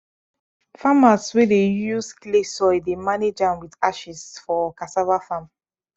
farmers wey dey use clay soil dey manage am with ashes for cassava farm